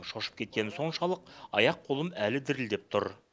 шошып кеткенім соншалық аяқ қолым әлі дірілдеп тұр